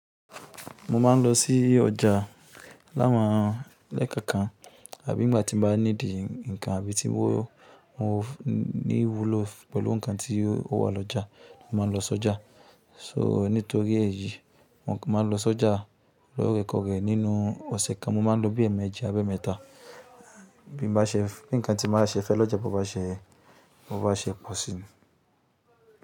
Mo má ń lọ sí ọjà láwọn, lẹ́ẹ̀kọ̀kan àbí ngbà tí mo bá níidì nǹkan àbí tí mo ní wúlò pẹ̀lú nǹkan tí ó wà lọ́jà, mo má ń lọ sí ọjà. So nítorí èyí, mo máa ń lọ sọ́jà lóòrèkóòrè nínú ọ̀sẹ̀ kan, mo má ń lọ bí ẹ̀ẹ̀mejì àbí ẹ̀ẹ̀mẹ́ta, bí n bá ṣe bí nǹkan tí mo bá ṣe fẹ́ lọ́jà, bo bá ṣe, bo bá ṣe pọ̀ sì ni.